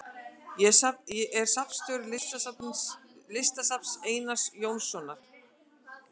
Er safnstjóri Listasafns Einars Jónssonar.